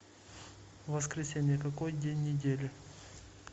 воскресенье какой день недели